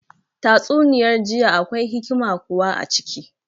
Tatsuniyar jiya akwai hikima kuwa a ciki